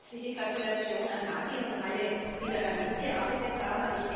Herzliche Gratulation an Mady und alle, die daran mitgearbeitet haben.